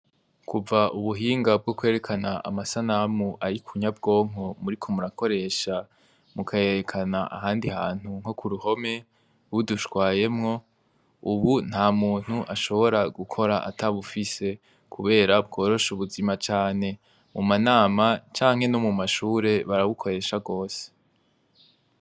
Kuva ubuhinga bw'ukwerekana amasanamu ari ku nyabwonko muriko murakoresha mukayerekana ahandi hantu nko ku ruhome budushwayemwo, ubu ntamuntu ashobora gukora atabufise kubera bworosha ubuzima cane. Mu manama canke no mu mashure, barabukoresha rwose.